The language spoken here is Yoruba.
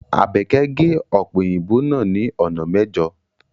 Abeke ge ọpe oyinbo naa ni ona mẹjo